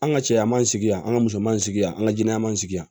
An ka cɛya ma sigi yan an ka musoman sigi yan an ka jinɛ m'an sigi yan